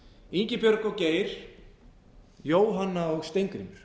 ingibjörg og geir jóhanna og steingrímur